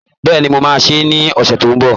Bẹ́ẹ̀ni, mo máa sè é ní ọ̀sẹ̀ tó ń bọ̀